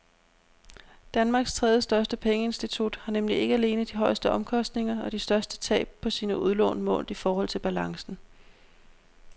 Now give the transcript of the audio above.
Danmarks tredjestørste pengeinstitut har nemlig ikke alene de højeste omkostninger og de største tab på sine udlån målt i forhold til balancen.